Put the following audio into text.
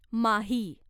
माही